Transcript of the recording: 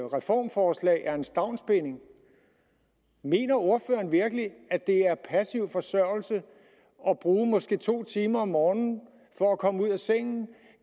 reformforslag er en stavnsbinding mener ordføreren virkelig at det er passiv forsørgelse at bruge måske to timer om morgenen på at komme ud af sengen